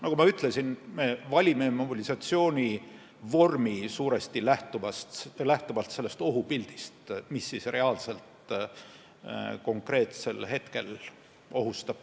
Nagu ma ütlesin, me valime mobilisatsioonivormi suuresti lähtuvalt sellest ohupildist, mis reaalselt meid konkreetsel hetkel ohustab.